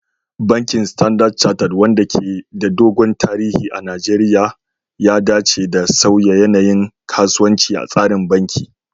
Bankin Standard Chartered, wanda ke da dogon tarihi a Najeriya, ya dace da sauya yanayin kasuwanci a tsarin banki